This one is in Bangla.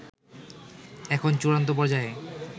এখন চূড়ান্ত পর্যায়ে